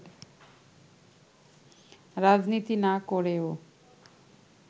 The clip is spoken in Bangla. রাজনীতি না করেও